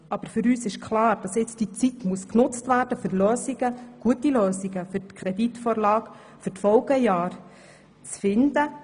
Aber für uns ist klar, dass die Zeit genutzt werden muss, um gute Lösungen für die kommende Kreditvorlage für die Folgejahre zu finden.